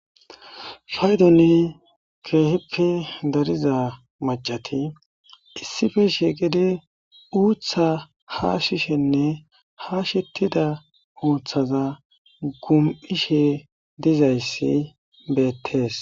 Paydoni keehippe dariza macati issife shiiqidi uuththa haashishenne hashettida uuthaza gum7ishe dizayssi beettees.